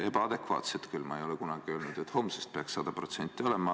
Ebaadekvaatselt küll – ma ei ole kunagi öelnud, et homsest peaks 100% taastuvenergia olema.